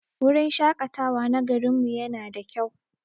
Wurin shaƙatawa na garin mu yana da kyau.